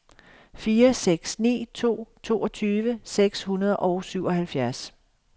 fire seks ni to toogtyve seks hundrede og syvoghalvfjerds